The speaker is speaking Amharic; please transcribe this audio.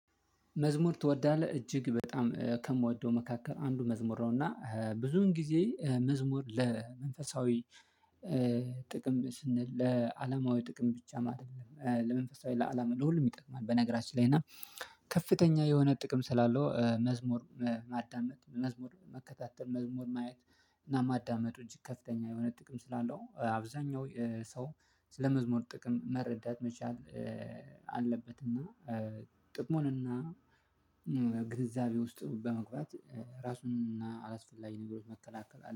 መዝሙር ትወዳለህ እጅግ በጣም ከምወደው መካከል አንዱ መዝሙር ነው እና ብዙን ጊዜ መዝሙር ለመንፈሳዊ ጥቅም ስንል ለአላማዊ ጥቅም ብቻ ማድረግ ለመንፈሳዊ ለአላማ ለሁሉም ይጠቅማል። በነገራችን ላይ እና ከፍተኛ የሆነ ጥቅም ስላለው መዝሙር ማዳመጥ መዝሙር መከታተል መዝሙር ማየት እና ማዳመጡ እጅግ ከፍተኛ የሆነ ጥቅም ስላለው። አብዛኛው ሰው ስለመዝሙር ጥቅም መረዳት መቻል አለበት። እና ጥቅሙን እና ግንዛቤ ውስጥ በመግባት ራሱን አላስፈላጊ ነገሮች መከላከል